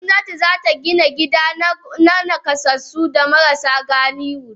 Gomnati zata Gina gida ma nakasassu da marasa galihu.